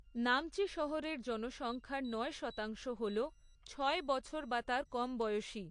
নামচি শহরের জনসংখ্যার নয় শতাংশ হল ছয় বছর বা তার কম বয়সী।